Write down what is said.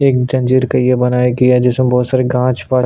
एक जंजीर का ये बनाया गया है जिसमें बहुत सारे गाछ --